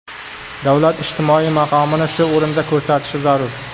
Davlat ijtimoiy maqomini shu o‘rinda ko‘rsatishi zarur.